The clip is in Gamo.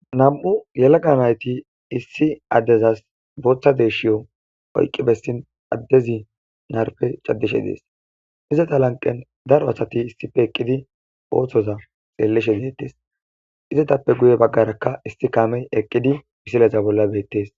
nam7u yelaqa nayti issi addezas booththa deeshshiyo oyqqi bessin addezi narpe caddishe dees izata lanqen daro asati issipe eqqidi ooththoza xeellishe deettes izatappe guye baggarakka issi kaamey eqqidi misileza bolla beettes